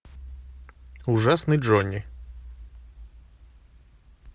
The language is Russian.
ужасный джонни